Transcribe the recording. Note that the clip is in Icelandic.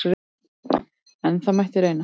En það mætti reyna!